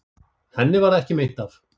Henni varð ekki meint af.